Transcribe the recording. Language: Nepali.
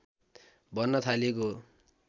भन्न थालिएको हो